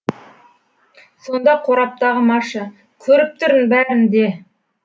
сонда қораптағы маша көріп тұрмын бәрін де